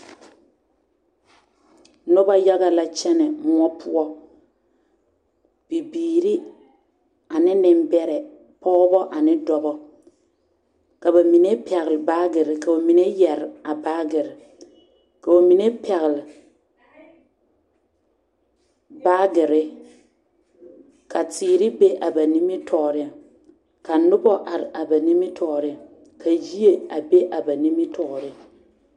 Nobɔ yaga la kyɛnɛ moɔ poɔ bibiiri ane nimbɛrɛ pɔgebɔ ane dɔbɔ ka bamine pɛgle baagire ka ba mine yɛre a baagire ka ba mine pɛgle baagire ka teere be a ba nimitɔɔriŋ ka nobɔ are a ba nimitɔɔriŋ ka yie a be a ba nimitɔɔriŋ.